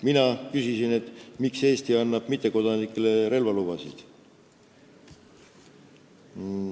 Mina küsisin, miks Eesti annab mittekodanikele relvalubasid.